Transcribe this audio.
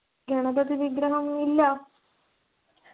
ഗണപതി വിഗ്രഹം~ ഇല്ല.